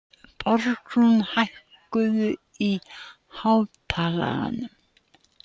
Borgrún, hækkaðu í hátalaranum.